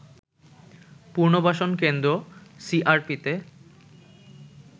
পুনর্বাসন কেন্দ্র সিআরপিতে